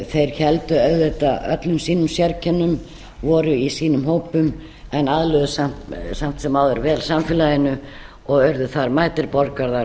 þeir héldu auðvitað öllum sínum sérkennum voru í sínum hópum en aðlöguðust samt sem áður vel samfélaginu og urðu þar mætir borgarar